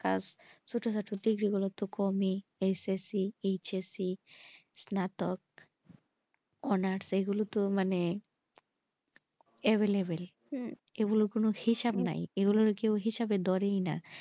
ছোটোখাটো degree গুলো তো কমই s s check s c নাতো hours এই গুলোতে মানে available এগুলোর কোনো হিসাব নাই এগুলো কেউ হিসাবে ধরতে না,